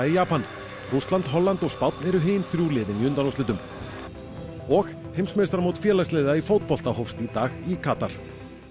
í Japan Rússland Holland og Spánn eru hin þrjú liðin í undanúrslitum og heimsmeistaramót félagsliða í fótbolta hófst í dag í Katar